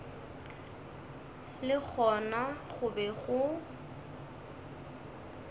le gona go be go